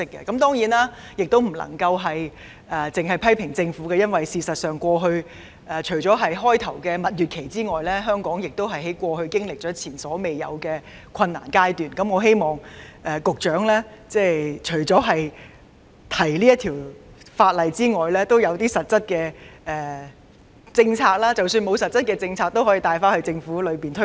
當然，我不能只批評政府，因為事實上，除了開初的蜜月期外，香港在過去經歷了前所未有的困難階段，故我希望局長除了提交《條例草案》外，也要推行實質的相應政策，即使沒有實質的政策，也可以在政府內部大力推動。